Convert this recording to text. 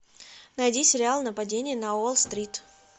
найди сериал нападение на уолл стрит